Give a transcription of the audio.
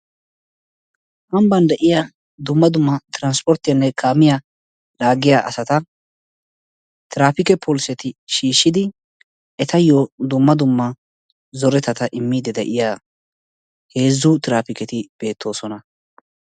Ambba de'iyaa dumma dumma trasnporttiyanne kaamiyaa laaggiya asata terapiketi poliseti shiishshidi etayyo dumma dumma zoretatta immidi de'iyaa heezzu terapiketi beettoosona.